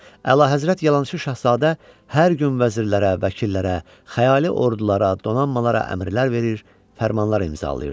Əlahəzrət yalançı şahzadə hər gün vəzirlərə, vəkillərə, xəyali ordulara, donanmalara əmrlər verir, fərmanlar imzalayırdı.